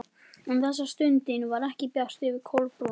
En þessa stundina var ekki bjart yfir Kolbrúnu.